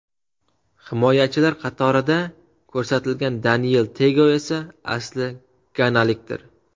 Himoyachilar qatorida ko‘rsatilgan Deniel Tego esa asli ganalikdir.